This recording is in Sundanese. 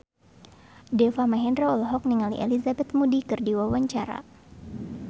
Deva Mahendra olohok ningali Elizabeth Moody keur diwawancara